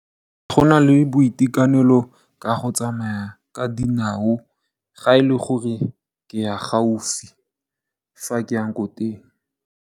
Go na le boitekanelo ka go tsamaya ka dinao ga e le gore ke ya gaufi fa ke yang ko teng.